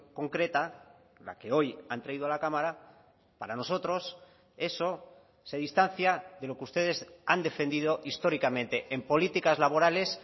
concreta la que hoy han traído a la cámara para nosotros eso se distancia de lo que ustedes han defendido históricamente en políticas laborales